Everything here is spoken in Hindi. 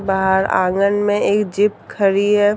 बाहर आँगन मे एक जीप ख़डी है।